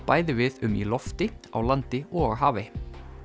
bæði við um í lofti á landi og á hafi